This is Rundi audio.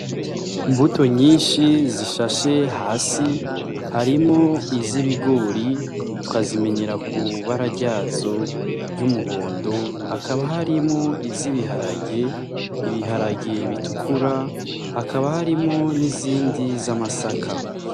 Imbuto nyinshi zishashe hasi harimwo iz’ibigori tukazimenyera ku bara ryazo y’umuhondo hakaba harimwo I z’ibiharage , ibiharage bitukura hakaba harimwo n’izindi z’amasaka .